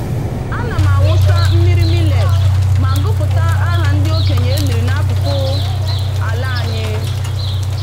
Ana m awụsa mmiri millet ma gụpụta aha ndị okenye e liri n'akụkụ ala anyị.